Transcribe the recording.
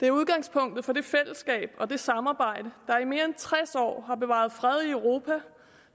det er udgangspunktet for det fællesskab og det samarbejde der i mere end tres år har bevaret freden i europa